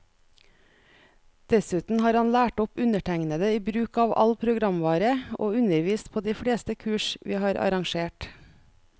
Dessuten har han lært opp undertegnede i bruk av all programvare, og undervist på de fleste kurs vi har arrangert.